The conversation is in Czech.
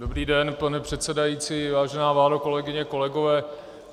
Dobrý den, pane předsedající, vážená vládo, kolegyně, kolegové.